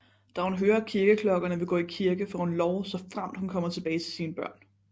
Da hun hører kirkeklokkeerne og vil gå i kirke får hun lov såfremt hun kommer tilbage til sine børn